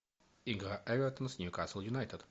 игра эвертон с ньюкасл юнайтед